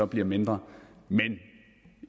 bliver mindre men